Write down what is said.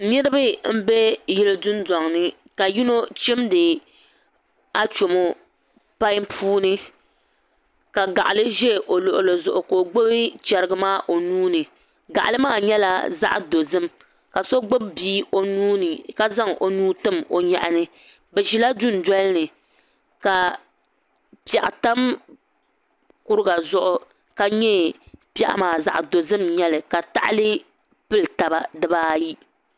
Niraba n bɛ yili dundoŋ ni ka yino chimdi achomo pai puuni ka gaɣali ʒɛ o luɣuli zuɣu ka o gbubi chɛrigi maa o nuuni gaɣali maa nyɛla zaɣ dozim ka so gbubi bia o nuuni ka zaŋ o nuu tim o nyaɣani bi ʒila dundoli ni ka piɛɣu tam kuriga zuɣu ka nyɛ piɛɣu maa zaɣ dozim n nyɛli ka tahali pili taba di baayi